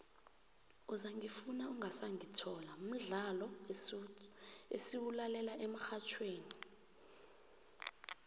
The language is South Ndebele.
uzangifuna ungasangithola mdlolo esiwulalela emxhatjhweni